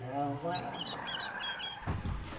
Ela não era fácil.